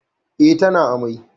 Eh, tana amai